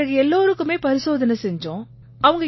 பிறகு எல்லாருக்குமே பரிசோதனை செய்தோம்